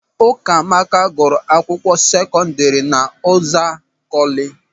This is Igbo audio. Ụkamaka gụrụ akwụkwọ sekọdịrị n'Ụzakọlị.